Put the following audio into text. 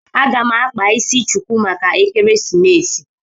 A ga m akpa isi chuku maka ekeresimesi